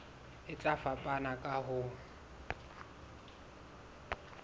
e tla fapana ka ho